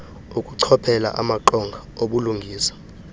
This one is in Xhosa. ukuchophela amaqonga obulungisa